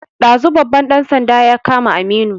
Ɗazu babban ɗan sanda ya kama Aminu